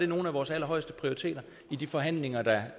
nogle af vores allerhøjeste prioriteter i de forhandlinger der